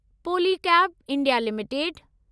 Polycab India limited